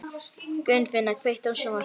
Gunnfinna, kveiktu á sjónvarpinu.